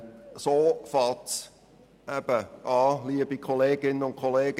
So fängt es eben an, liebe Kolleginnen und Kollegen: